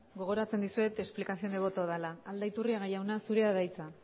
gogoratzen dizuet explicación de voto dela aldaiturriaga jauna zurea da hitza